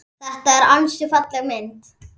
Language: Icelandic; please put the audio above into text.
Þetta er ansi falleg mynd.